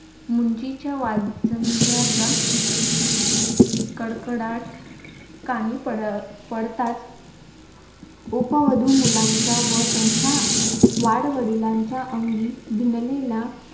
मुंजीचा वाजंत्र्याचा कडकडात कानी पड पडतात उपवधू मुलांच्या व त्यांचा वाडवडिलांचा अंगी भिनलेला